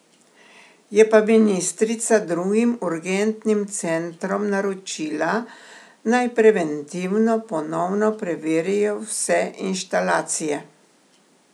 Je pa ministrica drugim urgentnim centrom naročila, naj preventivno ponovno preverijo vse inštalacije.